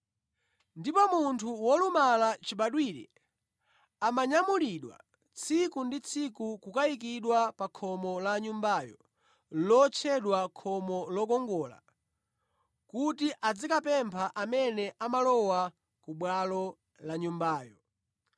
Ndipo munthu wolumala chibadwire ankanyamulidwa tsiku ndi tsiku kukayikidwa pa khomo la Nyumbayo lotchedwa Khomo Lokongola kuti azikapempha amene amalowa ku bwalo la Nyumbayo.